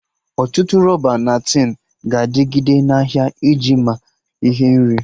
Ọtụtụ rọba na tin ga-adịgide na ahịa iji ama ihe nri